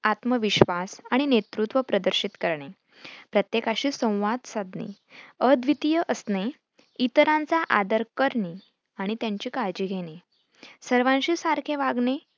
आत्मविश्वास आणि नेतृत्व प्रदर्शित करणे, प्रत्येकाशी संवाद साधणे, अद्वितीय असणे, इतरांचा आदर करणेआणि त्यांची काळजी घेणे, सर्वांशी सारखे वागणे.